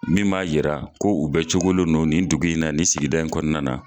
Min b'a yira ko u bɛ cogolen do nin dugu in nan, ni sigida in kɔnɔna na.